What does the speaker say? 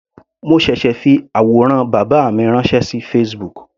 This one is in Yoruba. Mo ṣẹ̀ṣẹ̀ fi àwòrán bàbá mi ránṣẹ́ sí Facebook.